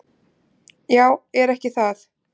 """Já, er ekki það?"""